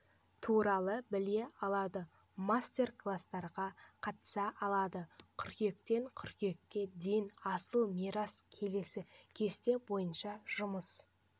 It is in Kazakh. туралы біле алады мастер-кластарға қатыса алады қыркүйектен қыркүйекке дейін асыл мирас келесі кесте бойынша жұмыс